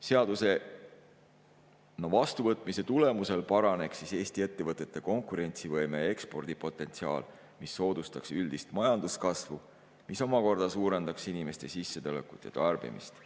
Seaduse vastuvõtmise tulemusel paraneks Eesti ettevõtete konkurentsivõime ja ekspordipotentsiaal, mis soodustaks üldist majanduskasvu ja mis omakorda suurendaks inimeste sissetulekut ja tarbimist.